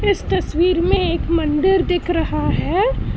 इस तस्वीर में एक मंदिर दिख रहा है।